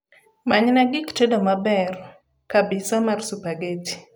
manyna gik tedo maber kabisa mar supergeti